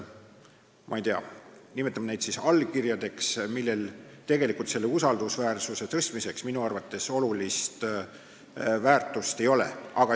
Ma ei tea, nimetame neid siis allkirjadeks, aga neil tegelikult usaldusväärsuse suurendamisel minu arvates olulist väärtust ei ole.